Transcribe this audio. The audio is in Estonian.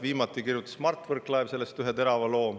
Viimati kirjutas Mart Võrklaev sellest ühe terava loo.